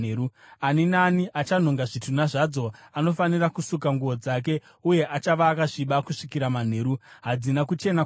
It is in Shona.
Ani naani achanhonga zvitunha zvadzo anofanira kusuka nguo dzake uye achava akasviba kusvikira manheru. Hadzina kuchena kwamuri.